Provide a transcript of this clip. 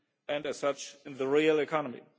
SMEs and, as such, in the real economy.